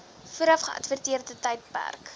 vooraf geadverteerde tydperk